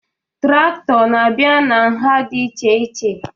Trakto na abịa n'nha dị iche iche